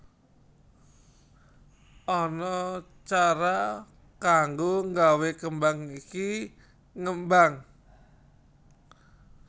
Ana cara kanggo nggawe kembang iki ngembang